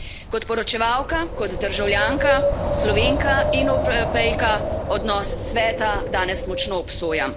Kot poročevalka, kot državljanka, Slovenka in Evropejka odnos Sveta danes močno obsojam.